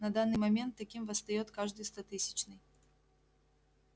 на данный момент таким восстаёт каждый стотысячный